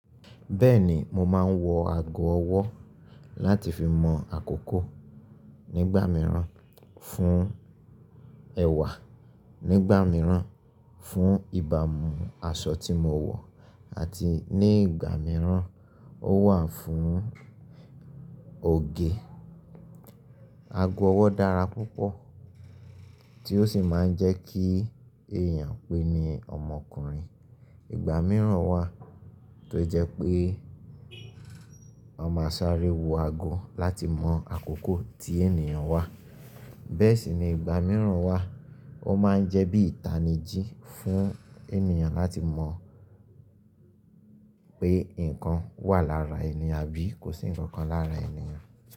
Bẹ́ẹ̀ni mo máa ń wọ ago ọwọ́ láti fi mọ àkókò nígbà mìíràn, fún ẹ̀wà nígbà mìíràn, fún ìbámu aṣọ tí mo wọ̀ àti ní ìgbà mìíràn ó wà fún òge. Ago ọwọ́ dára púpọ̀ tí ó sì máa ń jẹ́ kí èèyàn pé ní ọmọkùnrin. Ìgbà mìíràn wà tó jẹ́ pé a máa sáré wo ago láti mọ àkókò tí ènìyàn wà. Bẹ́ẹ̀ sì ni ìgbà mìíràn wà ó máa ń jẹ́ bí ìtanijí fún ènìyàn láti mọ pé nǹkan wà lára ènìyàn àbí kò sí ǹkan kan lára ènìyàn.